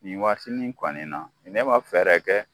Nin waati nin kɔni na, ne ma fɛɛrɛ kɛ